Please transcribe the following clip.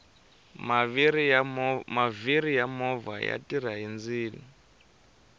maviri ya movha ya tirha hi ndzilo